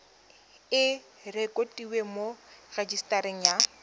e rekotiwe mo rejisetareng ya